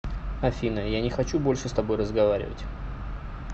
афина я не хочу больше с тобой разговаривать